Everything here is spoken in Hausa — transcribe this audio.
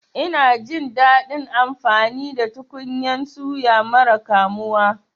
Ina jin daɗin amfani da tukunyan suya mara kamuwa.